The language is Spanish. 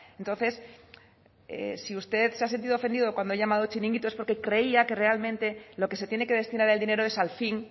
entonces si usted se ha sentido ofendido cuando he llamado chiringuito es porque creía que realmente lo que se tiene que destinar el dinero es al fin